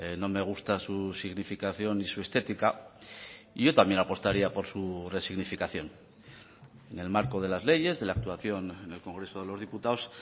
no me gusta su significación y su estética y yo también apostaría por su resignificación en el marco de las leyes de la actuación en el congreso de los diputados